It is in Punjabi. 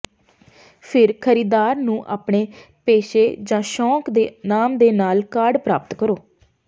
ਫਿਰ ਖਰੀਦਦਾਰ ਨੂੰ ਆਪਣੇ ਪੇਸ਼ੇ ਜ ਸ਼ੌਕ ਦੇ ਨਾਮ ਦੇ ਨਾਲ ਕਾਰਡ ਪ੍ਰਾਪਤ ਕਰੋ